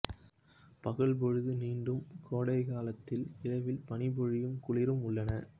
பகல் பொழுது நீண்டும் கோடைக்காலத்தில் இரவில் பனிப்பொழிவும் குளிரும் உள்ளன